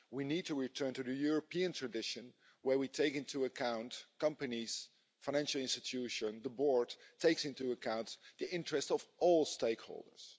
We need to return to the European tradition where we take into account companies, financial institutions and the board takes into account the interests of all stakeholders.